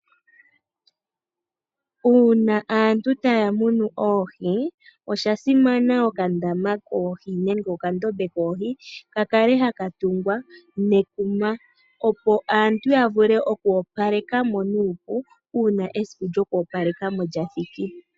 Uuna aantu taya munu oohi , oshasimana okandama koohi nenge okandombe koohi kakale haka tungwa netungo , opo aantu yavule okwoopalekamo nuupu, uuna esiku lyokoopalekamo lyathiki.